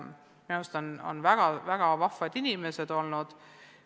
Minu meelest on nad väga vahvad inimesed olnud.